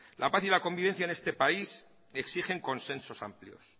la paz y la convivencia en este país exigen consensos amplios